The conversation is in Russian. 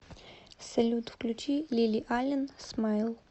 салют включи лили ален смайл